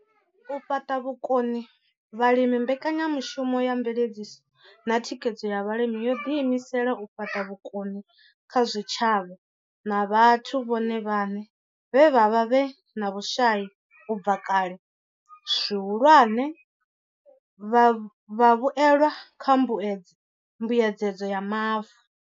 U fhaṱa vhukoni kha vhalimi mbekanyamushumo ya mveledziso na thikhedzo ya vhalimi yo ḓi imisela u fhaṱa vhukoni kha zwitshavha na vhathu vhone vhaṋe vhe vha vha vhe na vhushai u bva kale, zwihulwane, vhavhuelwa kha mbuedzedzo ya Mavu.